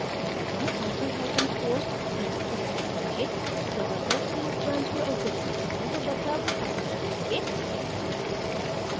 अगर हम hyphen hyphen force flag उपयोग करके ज़बरदस्ती इस branch को exit करते हैं तो बदलाव हटा दिए जाएंगे